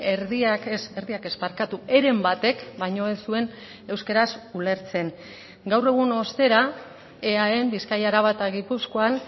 erdiak ez erdiak ez barkatu heren batek baino ez zuen euskaraz ulertzen gaur egun ostera eaen bizkaia araba eta gipuzkoan